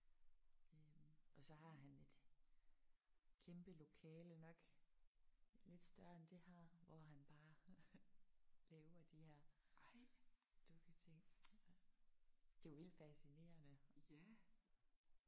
Øh og så har han et kæmpe lokale nok lidt større end det her hvor han bare laver de her dukketing. Det er jo vildt fascinerende!